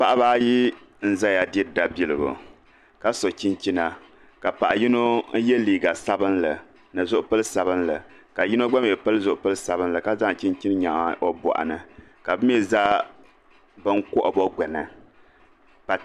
Paɣaba ayi n ʒɛya diri dabiligu ka so chinchina ka paɣa yino yɛ liiga sabinli ni zipili sabinli ka yino gba mii pili zipili sabinli ka zaŋ chinchin nyaɣa o boɣu ka bi mii zaa bɛ kohamma gbuni